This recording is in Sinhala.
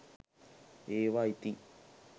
ඒවා ඉතින්